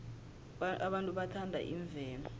abantu bathanda imvelo